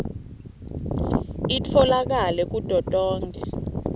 itfolakale kuto tonkhe